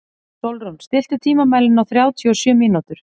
Sólrún, stilltu tímamælinn á þrjátíu og sjö mínútur.